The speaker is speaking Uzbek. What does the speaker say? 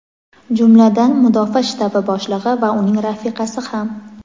jumladan Mudofaa shtabi boshlig‘i va uning rafiqasi ham.